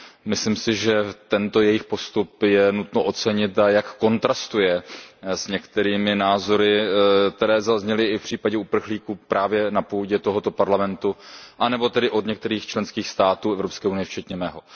Myslím si, že tento jejich postup je nutno ocenit a že kontrastuje s některými názory, které zazněly v případě uprchlíků právě na půdě tohoto parlamentu anebo od některých členských států Evropské unie včetně mého.